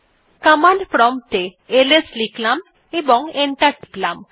command prompt এ LS লিখলাম এবং এন্টার টিপলাম